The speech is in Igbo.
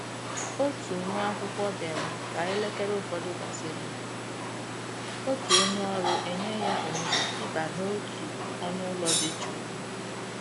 Òtù nwá ákwụ́kwọ́ bịara ka élékéré ụfọdụ gàsị́rị̀, òtù ónyé ọ́rụ́ enyè yá òhéré ì bà n'òtù ọ́nụ́ ụ́lọ́ dị jụ́ụ́.